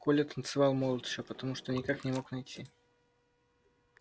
коля танцевал молча потому что никак не мог найти